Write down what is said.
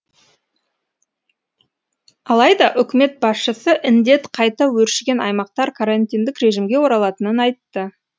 алайда үкімет басшысы індет қайта өршіген аймақтар карантиндік режимге оралатынын айтты